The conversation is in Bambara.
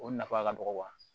O nafa ka dɔgɔ